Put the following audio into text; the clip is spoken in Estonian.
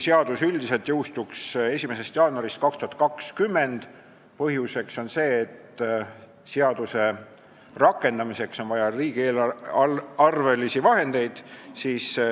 Seadus üldiselt jõustuks 1. jaanuarist 2020, põhjuseks on see, et seaduse rakendamiseks on vaja riigieelarvelisi vahendeid.